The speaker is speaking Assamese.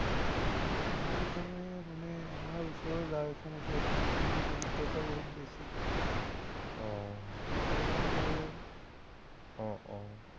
আমাৰ এইফালে মানে, আমাৰ ওচৰৰ গাঁও এখন আছে, তাত মানে দৰিদ্ৰতা বহুত বেছি। মুছলমান গাঁও হয়।